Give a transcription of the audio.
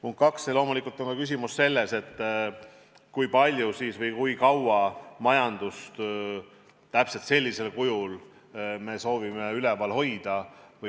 Punkt kaks, loomulikult on küsimus ka selles, kui palju või kui kaua me majandust täpselt sellisel kujul soovime üleval hoida.